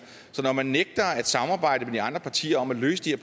så når man nægter at samarbejde med de andre partier om at løse de